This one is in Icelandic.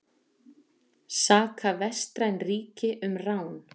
Saka vestræn ríki um rán